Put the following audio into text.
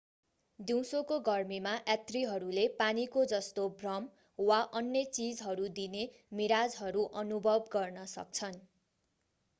दिउँसोको गर्मीमा यात्रीहरूले पानीको जस्तो भ्रम वा अन्य चीजहरू दिने मिराजहरू अनुभव गर्न सक्छन्।